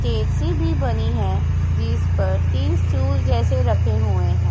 JCB बनी है जिस पर तीन स्टूल जैसे रखे हुए हैं।